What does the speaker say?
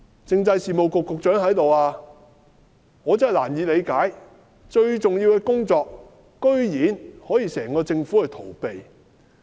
政制事務局局長在席，我真是難以理解，如此重要的工作，居然可以整個政府去逃避。